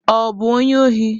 Ọ bụ onye ohi?